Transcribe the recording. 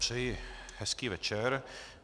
Přeji hezký večer.